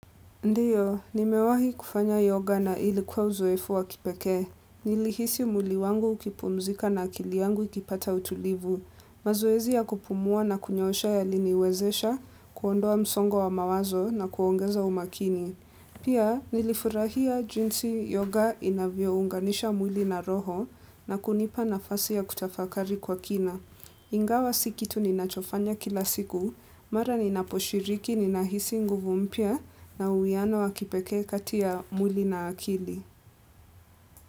Ndiyo, nimewahikufanya yoga na ilikuwa uzoefu wa kipekee. Nilihisi mwili wangu ukipumzika na akili yangu ikipata utulivu. Mazoezi ya kupumua na kunyosha yaliniwezesha, kuondoa msongo wa mawazo na kuongeza umakini. Pia, nilifurahia jinsi yoga inavyo unganisha mwili na roho na kunipa nafasi ya kutafakari kwa kina. Ingawa si kitu ninachofanya kila siku, mara ninaposhiriki ninahisi nguvu mpya na uwiano wakipekee kati ya mwili na akili.